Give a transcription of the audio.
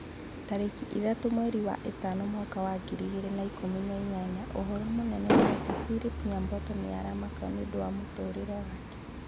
Tarĩki ithatũ mweri wa ĩtano mwaka wa ngiri igĩrĩ na ikũmi na inyanya ũhoro mũnene nĩ ati philip nyabuto nĩ aramaka nĩũndũ wa mũtũrĩre wake